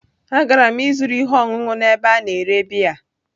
Agara m ịzụrụ ihe ọṅụṅụ n'ebe a na-ere biya.